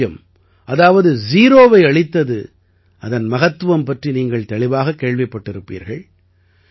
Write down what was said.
பூஜ்யம் அதாவது ஜீரோவை அளித்தது அதன் மகத்துவம் பற்றி நீங்கள் தெளிவாகக் கேள்விப்பட்டிருப்பீர்கள்